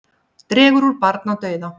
Dregur úr barnadauða